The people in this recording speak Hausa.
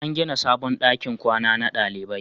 An gina sabon dakin kwana na dalibai